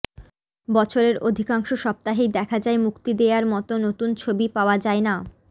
বছরের অধিকাংশ সপ্তাহেই দেখা যায় মুক্তি দেয়ার মতো নতুন ছবি পাওয়া যায় না